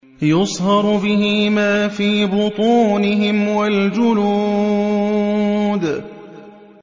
يُصْهَرُ بِهِ مَا فِي بُطُونِهِمْ وَالْجُلُودُ